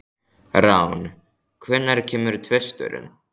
Rán, hvenær kemur tvisturinn?